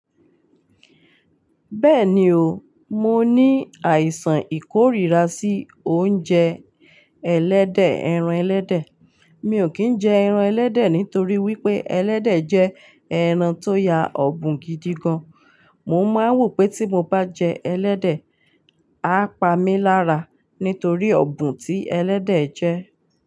Bẹ́ẹ̀ni o, mo ní àìsàn ìkórira sí oúnjẹ ẹlẹ́dẹ̀, ẹran ẹlẹ́dẹ̀. Mi ò kí ń jẹ ẹran ẹlẹ́dẹ̀ nítorí wípé ẹlẹ́dẹ̀ jẹ́ ẹran tó ya obùn gidi gan. Mo máa ń wò pé tí mo bá jẹ ẹlẹ́dẹ̀, á pa mí lára nítorí ọ̀bùn tí ẹlẹ́dẹ̀ jẹ́.